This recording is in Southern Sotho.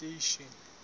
station